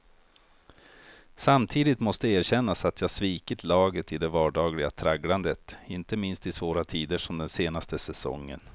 Samtidigt måste erkännas att jag svikit laget i det vardagliga tragglandet, inte minst i svåra tider som den senaste säsongen.